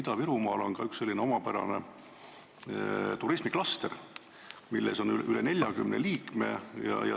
Ida-Virumaal on ka üks omapärane turismiklaster, milles on üle 40 liikme.